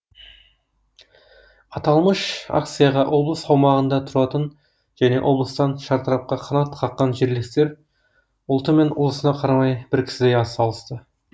аталмыш акцияға облыс аумағында тұратын және осы облыстан шартарапқа қанат қаққан жерлестер ұлты мен ұлысына қарамай бір кісідей атсалысты